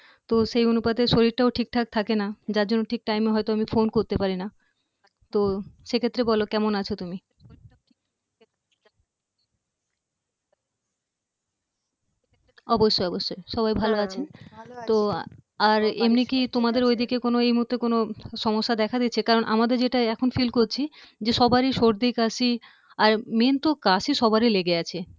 অবশ্যই অবশ্যই সবাই ভাল আছেন তো আর এমনি কি তোমাদের ঐদিকে কোনো এই মূহুর্তে কোনো সমস্যা দেখা দিচ্ছে কারন আমাদের যেটা এখন feel করছি সবারই সর্দি কাশি লেগেই আছে আর main তো কাশি সবারই লেগে আছে